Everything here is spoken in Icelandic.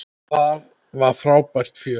Það var frábært fjör.